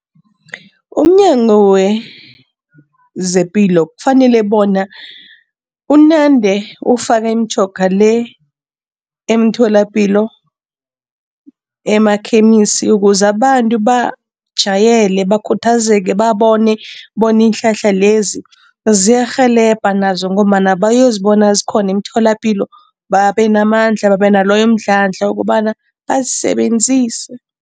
UmNyango wezePilo kufanele bona unande ufaka imitjhoga le emtholapilo, emakhemisi, ukuze abantu bajayele, bakhuthazeke, babone bona iinhlahla lezi ziyarhelebha nazo ngombana bayozibona zikhona emitholapilo babe namandla, babe naloyo mdlandla wokobana bazisebenzise.